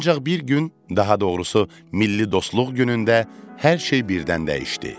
Ancaq bir gün, daha doğrusu milli dostluq günündə hər şey birdən dəyişdi.